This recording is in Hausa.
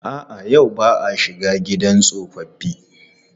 A'a, yau ba a shiga gidan tsofaffi.